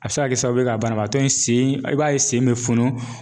A bɛ se ka kɛ sababu ye ka banabaatɔ in sen i b'a ye sen bɛ funu.